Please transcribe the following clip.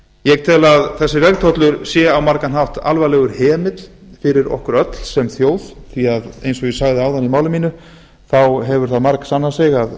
ég tel að þessi vegtollur sé á margan hátt alvarlegur hemill fyrir okkur sem þjóð því að eins og ég sagði þaðan í máli mínu þá hefur það margsannað sig að